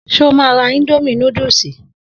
So má ra indomie núdúsì?